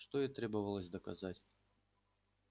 что и требовалось доказать